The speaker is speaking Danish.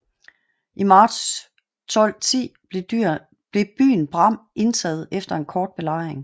I marts 1210 blev byen Bram indtaget efter en kort belejring